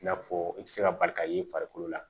I n'a fɔ i tɛ se ka bali ka ye i farikolo la